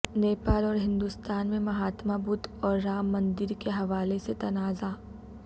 نیپال اور ہندوستان میں مہاتما بدھ اور رام مندر کے حوالہ سے تنازعہ